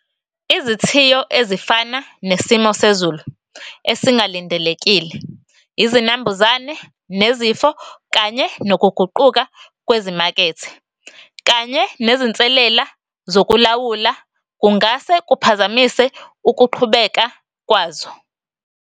Izithiyo ezifana nesimo sezulu esingalindelekile, izinambuzane nezifo, kanye nokuguquka kwezimakethe, kanye nezinselela zokulawula, kungase kuphazamise ukuqhubeka kwazo.